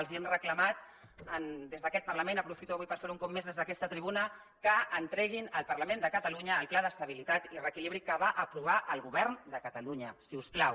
els ho hem reclamat i des d’aquest parlament aprofito avui per fer ho un cop més des d’aquesta tribuna que entreguin al parlament de catalunya el pla d’estabilitat i reequilibri que va aprovar el govern de catalunya si us plau